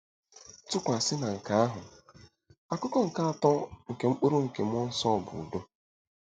Tụkwasị na nke ahụ, akụkụ nke atọ nke mkpụrụ nke mmụọ nsọ bụ udo.